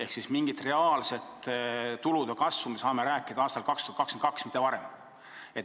Nii et mingist reaalsest tulude kasvust me saame rääkida aastal 2022, mitte varem.